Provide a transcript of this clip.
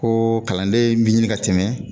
Ko kalanden bi ɲini ka tɛmɛ